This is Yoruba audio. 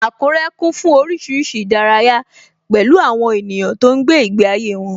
Akure kún fún oríṣiríṣi ìdárayá, pẹ̀lú àwọn ènìyàn tó ń gbé ìgbé ayé wọn